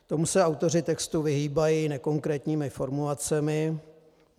Tomu se autoři textu vyhýbají nekonkrétními formulacemi.